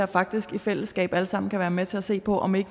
faktisk i fællesskab alle sammen kan være med til at se på om vi